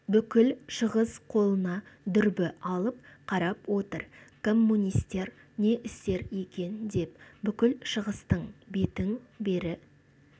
бүкіл шығыс қолына дүрбі алып қарап отыр коммунистер не істер екен деп бүкіл шығыстың бетін бері